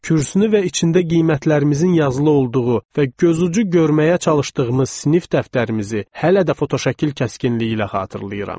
Kürsünü və içində qiymətlərimizin yazılı olduğu və gözucu görməyə çalışdığımız sinif dəftərimizi hələ də fotoşəkil kəskinliyi ilə xatırlayıram.